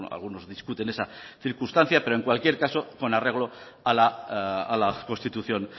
algunos discuten esa circunstancia pero en cualquier caso con arreglo a la constitución